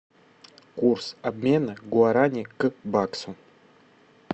курс обмена гуарани к баксу